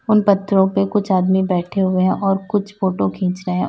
उन पत्थरों पे कुछ आदमी बैठे हुए हैं और कुछ फोटो खींच रहे हैं और--